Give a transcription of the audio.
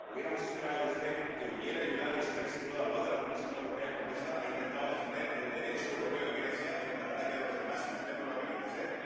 Hubiéramos esperado de usted que hubiera ayudado y se hubiera situado al lado de la Comisión Europea, cuando esta ha intentado defender el Derecho europeo en Grecia frente al ataque de los demás y usted no lo ha querido hacer.